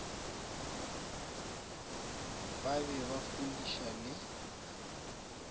ba be ba fudiša le